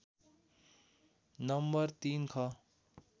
number ३ ख